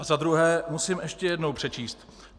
A za druhé musím ještě jednou přečíst: